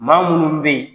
Maa munnu be yen